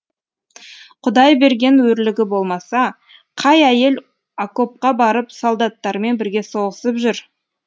құдай берген өрлігі болмаса қай әйел окопқа барып солдаттармен бірге соғысып жүр